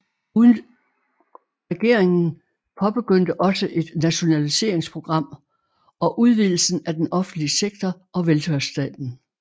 Regeringen påbegyndte også et nationaliseringsprogram og udvidelsen af den offentlige sektor og velfærdsstaten